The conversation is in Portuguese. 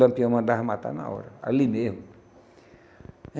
Lampião mandava matar na hora, ali mesmo.